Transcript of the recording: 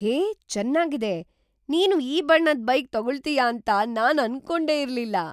ಹೇ, ಚೆನ್ನಾಗಿದೆ! ನೀನು ಈ ಬಣ್ಣದ್ ಬೈಕ್ ತಗೊಳ್ತೀಯ ಅಂತ ನಾನ್ ಅನ್ಕೊಂಡೇ ಇರ್ಲಿಲ್ಲ.